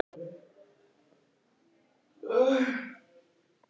Hún er eflaust besti kostur svokallaðra friðarsinna.